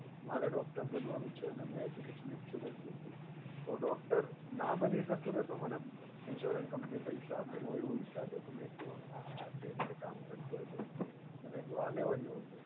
મારે doctor બનવાનું છે અને અમે education insurance લખ્યું તો doctor ના બની શકું ને તો મને insurance company પૈસા આપે એવું એવું વિચારતો હતો મે કીધું આ કઈ રીતે કામ કરતું હશે? મે કીધું આ લેવા જેવુ છે.